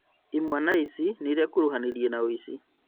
Imwana ici nĩirekuruhanirie na ũici